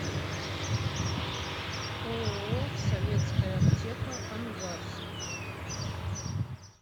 ооо советская аптека ангарск